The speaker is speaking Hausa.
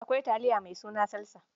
Akwai taliya mai suna salsa.